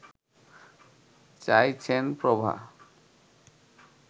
চাইছেন প্রভা